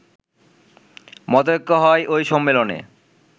মতৈক্য হয় ওই সম্মেলনে